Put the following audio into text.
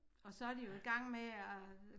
Og så de jo i gang med at